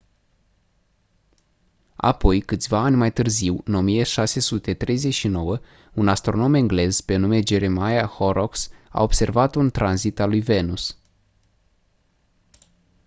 apoi câțiva ani mai târziu în 1639 un astronom englez pe nume jeremiah horrocks a observat un tranzit al lui venus